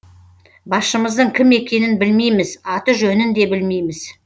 басшымыздың кім екенін білмейміз аты жөнін де білмейміз